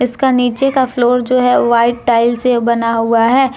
इसका का नीचे का फ्लोर जो है वाइट टाइल से बना हुआ है।